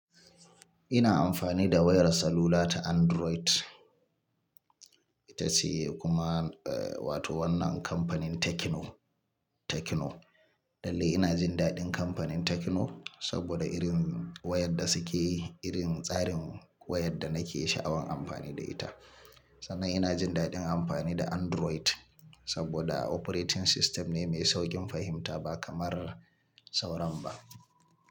Ina amfani da wayar salula ta Android. Ta siye kuma, eh wato wannan kamfanin Tecno, Tecno. Dalili ina jin daɗin kamfanin Tecno saboda irin wayar da suke yi, irin tsarin wayar da nake sha'awan amfani da ita. Sannan ina jin daɗin amfani da Android saboda operating system ne mai sauƙin fahimta ba kamar sauran ba.